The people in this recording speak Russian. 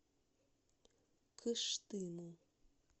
кыштыму